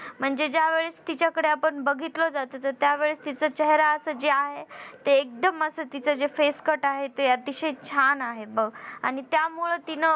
म्हणजे ज्यावेळेस तिच्याकडं आपण बघितलं जात तर त्यावेळेस तिच चेहरा याच जे आहे ते एकदम असं तीच जे face cut आहे ते अतिशय छान आहे बघ आणि त्यामुळं तिनं म्हणजे तिच्या सौंदर्यामुळं आणि ती तिच्या कला.